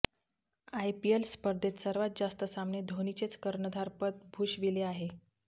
IPL स्पर्धेत सर्वात जास्त सामने धोनीनेच कर्णधार पद भूषविले आहे